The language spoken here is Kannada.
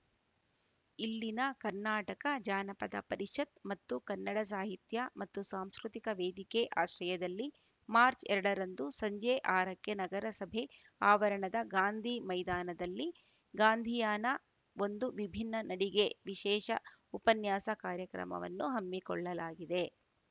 ಇಲ್ಲಿನ ಕರ್ನಾಟಕ ಜಾನಪದ ಪರಿಷತ್‌ ಮತ್ತು ಕನ್ನಡ ಸಾಹಿತ್ಯ ಮತ್ತು ಸಾಂಸ್ಕೃತಿಕ ವೇದಿಕೆ ಆಶ್ರಯದಲ್ಲಿ ಮಾರ್ಚ್ ಎರಡರಂದು ಸಂಜೆ ಆರಕ್ಕೆ ನಗರಸಭೆ ಆವರಣದ ಗಾಂಧಿ ಮೈದಾನದಲ್ಲಿ ಗಾಂಧಿಯಾನ ಒಂದು ವಿಭಿನ್ನ ನಡಿಗೆ ವಿಶೇಷ ಉಪನ್ಯಾಸ ಕಾರ್ಯಕ್ರಮವನ್ನು ಹಮ್ಮಿಕೊಳ್ಳಲಾಗಿದೆ